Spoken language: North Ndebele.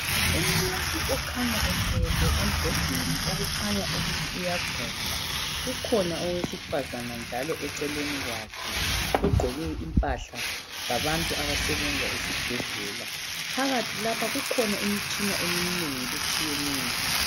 Umuntu okhanya elele embhedeni okukhanya ukuthi uyagula. Kukhona owesifazana njalo eceleni kwakhe ogqoke impahla zabantu abasebenza esibhedlela. Phakathi lapha kukhona imtshina eminengi etshiyeneyo.